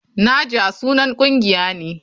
Naja sunan kungiya ne.